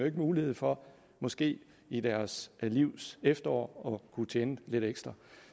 ikke mulighed for måske i deres livs efterår at kunne tjene lidt ekstra